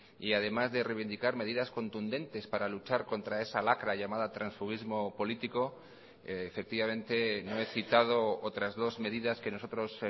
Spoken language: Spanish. y además de reivindicar medidas contundentes para luchar contra esa lacra llamada transfuguismo político efectivamente no he citado otras dos medidas que nosotros